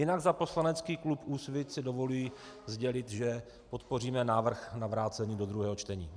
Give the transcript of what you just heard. Jinak za poslanecký klub Úsvit si dovoluji sdělit, že podpoříme návrh na vrácení do druhého čtení.